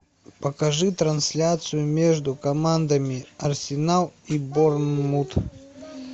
покажи трансляцию между командами арсенал и борнмут